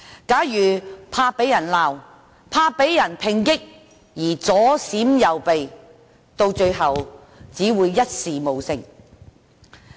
假如他害怕被責罵及抨擊而左閃右避，最終只會一事無成。